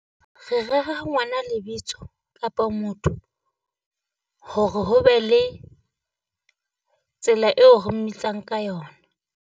Re rera ngwana lebitso kapa motho, hore ho be le tsela eo re mmitsang ka yona.